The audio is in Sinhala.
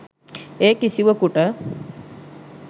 ඒ කිසිවකුට